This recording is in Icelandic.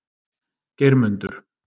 Geirmundur